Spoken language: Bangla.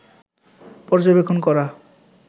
পর্যবেক্ষণ করা